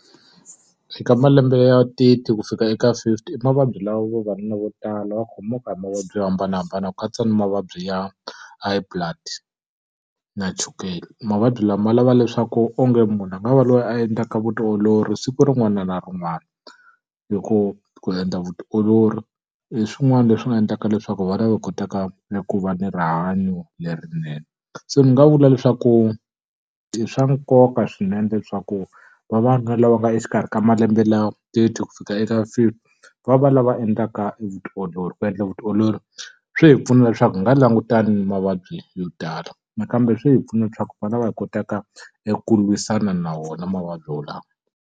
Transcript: Eka malembe ya thirty ku fika eka fifty i mavabyi lawa vavanuna vo tala va khomiwaka hi mavabyi yo hambanahambana ku katsa na mavabyi ya high blood, na chukele. Mavabyi lama lava leswaku onge munhu a nga va loyi a endlaka vutiolori siku rin'wana na rin'wana, hi ku ku endla vutiolori i swin'wana leswi nga endlaka leswaku va va lava va kotaka ni ku va ni rihanyo lerinene. Se ni nga vula leswaku i swa nkoka swinene leswaku vavanuna lava nga exikarhi ka malembe lawa titwi ku fika eka fifty, va va lava endlaka vutiolori, Ku endla vutiolori swi hi pfuna leswaku hi nga langutana ni mavabyi yo tala, nakambe swi hi pfuna leswaku hi va lava hi kotaka eku lwisana na wona mavabyi walawo.